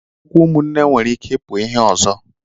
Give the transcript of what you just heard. Okwu ụmụnne nwere ike ipu ihe ozo